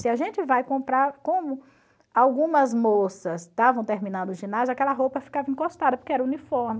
Se a gente vai comprar, como algumas moças estavam terminando o ginásio, aquela roupa ficava encostada, porque era uniforme.